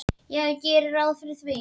Já, ég geri ráð fyrir því.